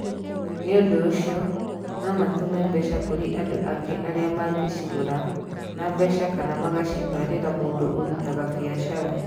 Nĩ ũndũ ũcio, no matũme mbeca kũrĩ andũ angĩ arĩa mangĩcigũra na mbeca kana makacitwarĩra mũndũ ũrutaga biacara.